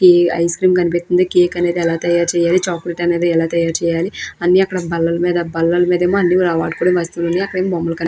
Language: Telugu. ఈ ఐస్క్రీం కనిపిస్తుంది కేక్ అనేది ఎలా తయారు చేయాలి చాక్లెట్ అనేది ఎలా తయారు చేయాలి అన్ని అక్కడ బల్లల మీద బల్లల మీదేమో అన్ని వాడుకునే వస్తువులు ఉన్నాయి అక్కడేమో బొమ్మలు కని --